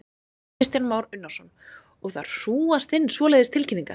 Kristján Már Unnarsson: Og það hrúgast inn svoleiðis tilkynningar?